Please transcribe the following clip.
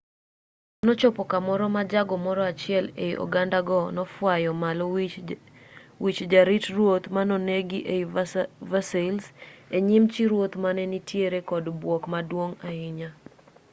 nochopo kamoro ma jago moro achiel ei ogandago nofwayo malo wich jarit ruoth manonegi ei versailles e nyim chi ruoth mane nitiere kod bwok maduong' ahinya